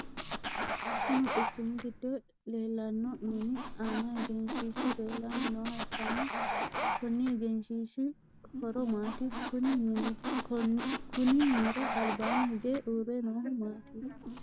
Konni quchumu gido leelano minni aanna egenshiishu leelanni nooha ikanna konni egenshiishi horo maati? Kunni minnira albaanni hige uure noohu maati?